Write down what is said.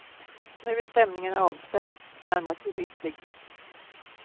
Nu är stämningen avspänd, närmast gemytlig.